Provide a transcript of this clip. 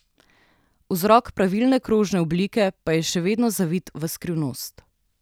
Vzrok pravilne krožne oblike pa je še vedno zavit v skrivnost.